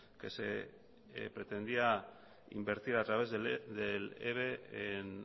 que se pretendía invertir a través del eve en